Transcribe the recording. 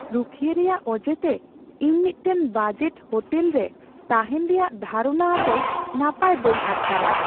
ᱨᱩᱠᱷᱤᱭᱟᱹ ᱨᱮᱭᱟᱜ ᱚᱡᱮᱛᱮ ᱤᱧ ᱢᱤᱫᱴᱟᱝ ᱵᱟᱡᱮᱴ ᱦᱳᱴᱮᱞ ᱨᱮ ᱛᱟᱦᱮᱱ ᱨᱮᱭᱟᱜ ᱫᱷᱟᱨᱚᱱᱟ ᱟᱛᱮ ᱱᱟᱯᱟᱭ ᱵᱟᱹᱧ ᱟᱴᱠᱟᱨᱟ ᱾